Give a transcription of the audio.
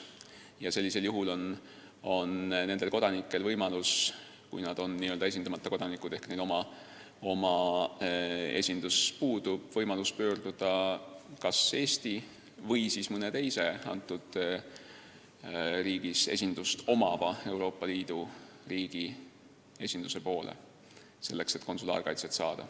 Ja sellisel juhul on nendel kodanikel võimalus – kui nad on n-ö esindamata kodanikud ehk neil oma riigi esindus puudub – pöörduda kas Eesti või mõne teise Euroopa Liidu riigi esinduse poole, et konsulaarkaitset saada.